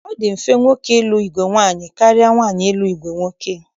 Ọ dị mfe nwoke ịlụ ìgwè nwaanyị karịa nwaanyị ịlụ ìgwè nwoke